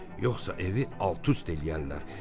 Yoxsa evi alt-üst eləyərlər.